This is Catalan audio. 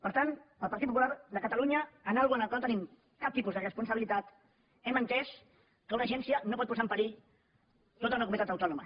per tant el partit popular de catalunya en una cosa en què no tenim cap tipus de responsabilitat hem entès que una agència no pot posar en perill tota una comunitat autònoma